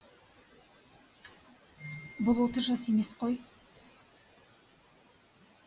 бұл отыз жас емес қой